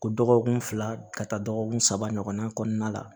Ko dɔgɔkun fila ka taa dɔgɔkun saba ɲɔgɔn na kɔnɔna la